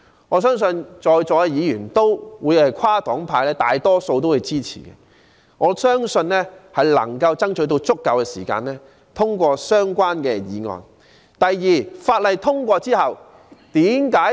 我相信在座大多數跨黨派議員也會支持，並能爭取足夠時間通過相關法案。